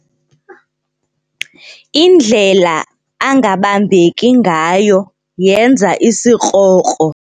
Indlela angabambeki ngayo yenza isikrokro.